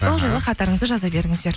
аха бұл жолы хаттарыңызды жаза берініздер